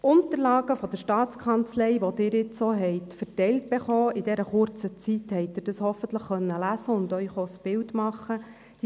Die Unterlagen der Staatskanzlei, die Sie nun auch verteilt erhalten haben, haben Sie hoffentlich in der kurzen Zeit lesen und sich ein Bild machen können.